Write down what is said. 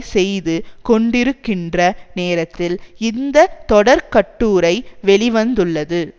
செய்து கொண்டிருக்கின்ற நேரத்தில் இந்த தொடர்கட்டுரை வெளி வந்துள்ளது